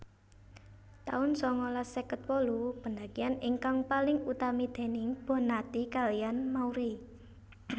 taun sangalas seket wolu pendakian ingkang paling utami déning Bonnati kaliyan Mauri